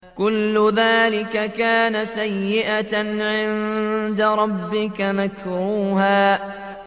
كُلُّ ذَٰلِكَ كَانَ سَيِّئُهُ عِندَ رَبِّكَ مَكْرُوهًا